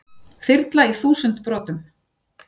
Þyrla í þúsund brotum